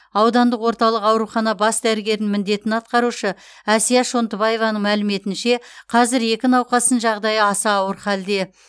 аудандық орталық аурухана бас дәрігерінің міндетін атқарушы әсия шонтыбаеваның мәліметінше қазір екі науқастың жағдайы аса ауыр халде